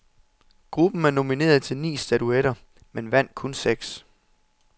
Gruppen er nomineret til ni statuetter, men vandt kunseks.